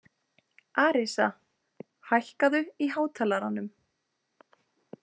Arisa, hækkaðu í hátalaranum.